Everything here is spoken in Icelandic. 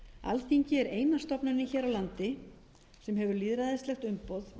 alþingi er eina stofnunin hér á landi sem hefur lýðræðislegt umboð